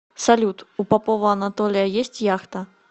салют у попова анатолия есть яхта